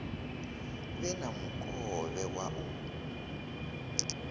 vhe na mukovhe wa u